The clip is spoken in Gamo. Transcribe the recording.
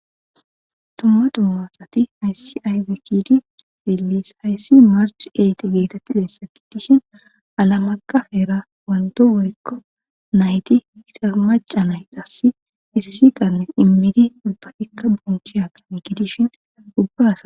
Dumma dumma aywe kidi xilis ayssi march eyti geetetti denssa gidishin alamakaf era wanto worikko nayti hisamaca naytas issi qanne immidi ipakikka bonchi hagane gidishin gubbasa